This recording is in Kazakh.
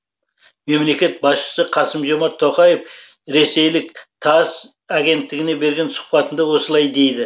мемлекет басшысы қасым жомарт тоқаев ресейлік тасс агенттігіне берген сұхбатында осылай дейді